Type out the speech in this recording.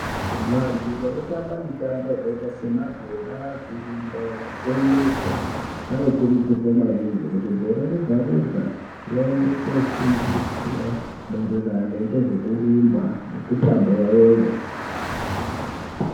Vantu vanotamba mitambo yakaita semabhora, kurumba kana kutomuka, vanokurudzirwa maningi kuti gore rega-rega, vaende kofundiswa maererano ngezvekurumba nemitambo yavoyo.